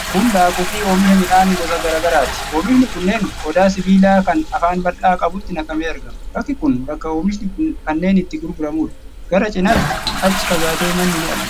Kun daakuu fi oomisha midhaan gosa garaa garaati. Oomishni kunneen qodaa sibiilaa kan afaan bal'aa qabutti naqamee argama. Bakki kun bakka omishni kanneen itti gurguramuudha. Gara cinaatti achi fagaatee manni ni argama.